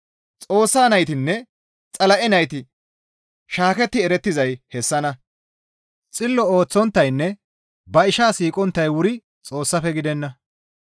Xoossa naytinne Xala7e nayti shaaketti erettizay hessanna; Xillo ooththonttaynne ba ishaa siiqonttay wuri Xoossafe gidenna.